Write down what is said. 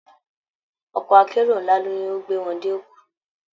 Ọkọ̀ akérò ńlá ni ó gbé wọn dé Èkó